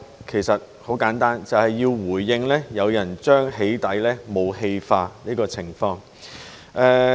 其實很簡單，便是要回應有人將"起底"武器化的情況。